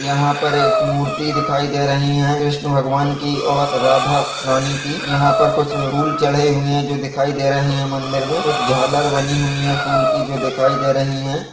यहाँ पर एक मूर्ति दिखाई दे रही है विष्णु भगवान की और राधा रानी की यहाँ पर कुछ फूल चढ़े हुए है जो दिखाई दे रहे है मंदिर में कुछ झालर बनी हुई है फूल की जो दिखाई दे रही है।